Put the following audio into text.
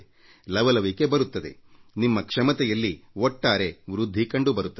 ಲವಲವಿಕೆ ಬರುತ್ತದೆ ನಿಮ್ಮ ಕ್ಷಮತೆಯಲ್ಲಿ ಒಟ್ಟಾರೆ ವೃದ್ಧಿ ಕಂಡುಬರುತ್ತದೆ